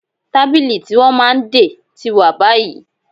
Tábìlì tí wọ́n máa ń dè tí wà báyìí